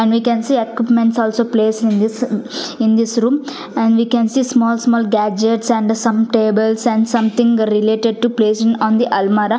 and we can see equipment also place in this in this room and we can see small small gadgets and the some tables and something related to placing on the almirah.